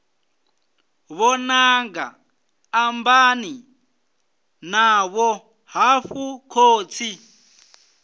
vhananga ambani navho hafhu khotsi